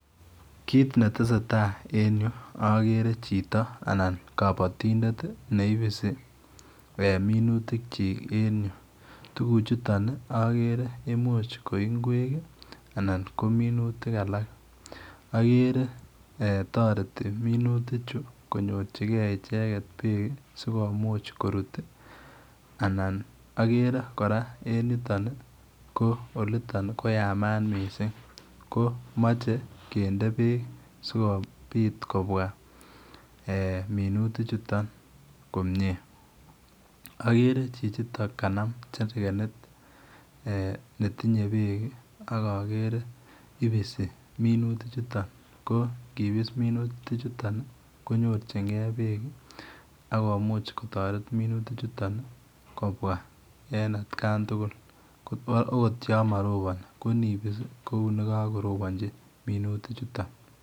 Kit ne tesetai en yu agere chito anan kabatindet ne ibisi minutik kyiik , tuguk chutoon agere imuche ko ngweek anan ko minutik alaak agere eeh taretii minutik chuu konyorjigei ichegeet beek ii sikomuuch koruut ii anan agere kora en yuu olitoob ii ko Yamat missing ko machei kindee beek sikobiit kobwaa eeh minutik chutoon komyei agere chichi toon kanam charge it eeh netinyei beek ak agere ibisi minutik chutoon, ak agere kobois minutik chutoon akomuuch kotaret minutik chutoon kobwa en kaan tugul akot yaan marina I ko ibis ii ko uu ne kakorobanjii minutik chutoon.